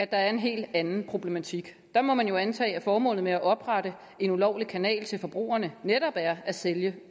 der er en hel anden problematik der må man jo antage at formålet med at oprette en ulovlig kanal til forbrugerne netop er at sælge